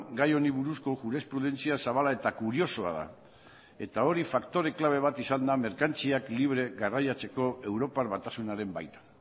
gai honi buruzko jurisprudentzia zabala eta kuriosoa da eta hori faktore klabe bat izan da merkantziak libre garraiatzeko europar batasunaren baita